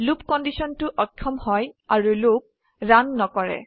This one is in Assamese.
লুপ কন্ডিশনটো অক্ষম হয় আৰু লুপ ৰান নকৰে